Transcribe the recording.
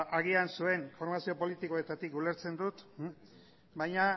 agian zuen formazio politikoetatik ulertzen dut baina